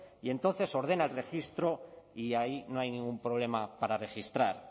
y entonces ordena el registro y ahí no hay ningún problema para registrar